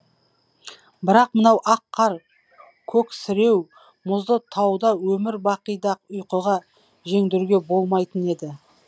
бірақ мынау ақ қар көксіреу мұзды тауда өмір бақи да ұйқыға жеңдіруге болмайтын еді